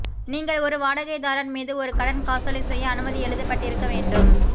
நீங்கள் ஒரு வாடகைதாரர் மீது ஒரு கடன் காசோலை செய்ய அனுமதி எழுதப்பட்டிருக்க வேண்டும்